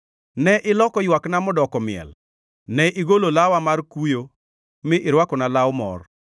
Ne iloko ywakna modoko miel; ne igolo lawa mar kuyo mi irwakona law mor,